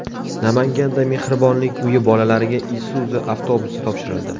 Namanganda Mehribonlik uyi bolalariga Isuzu avtobusi topshirildi .